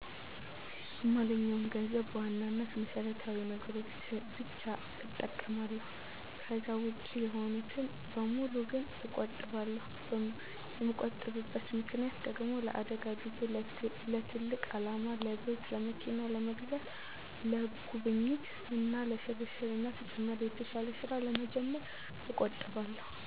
የማገኘውን ገንዘብ በዋናነት ለመሰረታዊ ነገሮች ብቻ እጠቀማለሁ። ከዛ ውጭ የሆኑትን በሙሉ ግን እቆጥባለሁ። የምቆጥብበት ምክንያት ደግሞ ለአደጋ ጊዜ፣ ለትልቅ አላማ ለቤት፣ ለመኪና ለመግዛት፣ ለጉብኝት እና ለሽርሽር እና ተጨማሪ የተሻለ ስራ ለመጀመር እቆጥባለሁ።